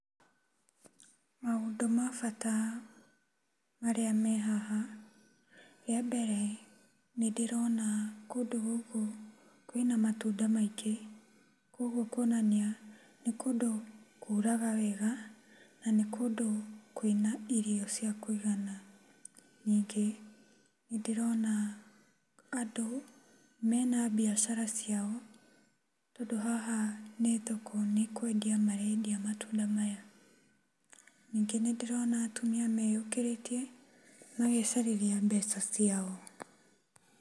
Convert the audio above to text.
Maũndũ ma bata marĩa me haha, rĩambere nĩndĩrona kũndũ gũkũ kwĩna matunda maingĩ kwoguo kuonania nĩ kũndũ kuraga wega na nĩ kũndũ kwĩna irio cia kũigana. Ningĩ nĩndĩrona andũ mena biacara ciao tondũ haha nĩ thoko, nĩ kwendia marendia matunda maya. Ningĩ nĩndĩrona atumia meyũkĩrĩtie magecarĩria mbeca ciao.